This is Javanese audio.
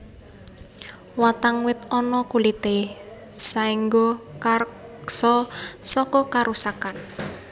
Watang wit ana kulité saéngga karksa saka karusakan